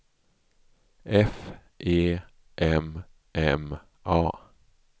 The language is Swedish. F E M M A